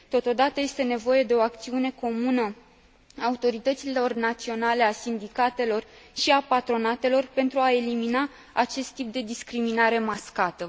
Totodată, este nevoie de o acțiune comună a autorităților naționale, a sindicatelor și a patronatelor pentru a elimina acest tip de discriminare mascată.